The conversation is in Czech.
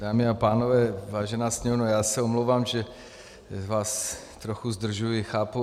Dámy a pánové, vážená Sněmovno, já se omlouvám, že vás trochu zdržuji. Chápu.